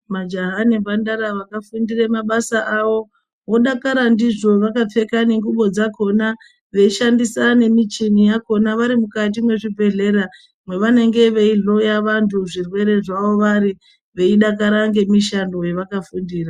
Majaha ngemhandara vakafundire mabasa avo vkdakara ndizvo vakapfeka ngubo dzakona veishandisa nemichini yakona vari mukati mwezvibhehlera mwevanenge veihloya vantu zvirwere zvavo vari veidakara nemishando yavanenge vakafundira